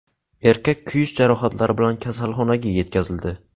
Erkak kuyish jarohatlari bilan kasalxonaga yetkazildi.